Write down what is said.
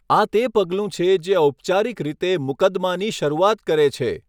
આ તે પગલું છે જે ઔપચારિક રીતે મુકદ્દમાની શરૂઆત કરે છે.